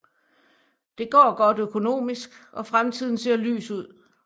Det går godt økonomisk og fremtiden ser lys ud